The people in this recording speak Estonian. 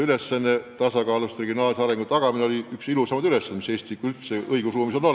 Kõigepealt, regionaalse arengu tagamine on üks ilusamaid ülesandeid, mis üldse Eesti õigusruumis olemas on.